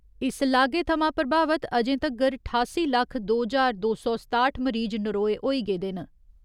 इस लागे थमां प्रभावित अजें तगर ठासी लक्ख दो ज्हार दो सौ सताठ मरीज नरोए होई गेदे न।